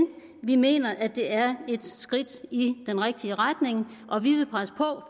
vi mener at det er et skridt i den rigtige retning og vi vil presse på